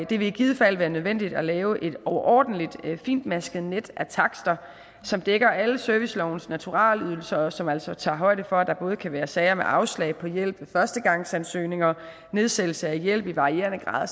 det vil i givet fald være nødvendigt at lave et overordentligt fintmasket net af takster som dækker alle servicelovens naturalydelser og som altså tager højde for at der både kan være sager med afslag på hjælp ved førstegangsansøgninger nedsættelse af hjælp i varierende grad og